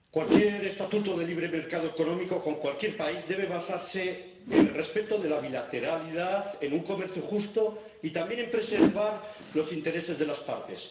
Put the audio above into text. Señor Presidente, cualquier estatuto de libre mercado económico con cualquier país debe basarse en el respeto de la bilateralidad, en un comercio justo y también en preservar los intereses de las partes.